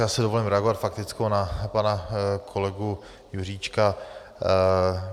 Já si dovolím zareagovat faktickou na pana kolegu Juříčka.